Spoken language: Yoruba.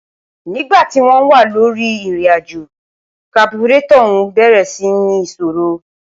nígba tí wọ́n wà lórí ìrìnàjò, kaburétọ̀ ọ̀ún bẹ̀rẹ̀ sí ń ní ìṣòrò